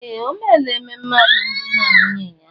Ee! O meela ememe alụmdi na nwunye ya.